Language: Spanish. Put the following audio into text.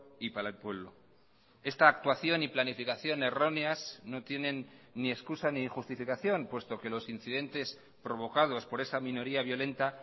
y para el pueblo esta actuación y planificación erróneas no tienen ni excusa ni justificación puesto que los incidentes provocados por esa minoría violenta